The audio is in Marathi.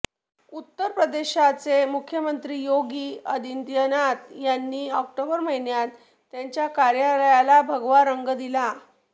उत्तर प्रदेशचे मुख्यमंत्री योगी आदित्यनाथ यांनी ऑक्टोबर महिन्यात त्यांच्या कार्यालयाला भगवा रंग दिला